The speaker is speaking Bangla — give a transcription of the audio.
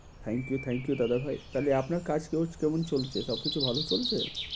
Thank you, thank you দাদা ভাই। তাইলে আপনার কাজ কেউ~ কেমন চলছে, সবকিছু ভালো চলছে?